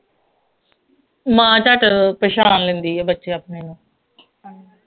ਮਾਂ ਝੱਟ ਪਛਾਣ ਲੈਂਦੀ ਹੈ ਬੱਚੇ ਆਪਣੇ ਨੂੰ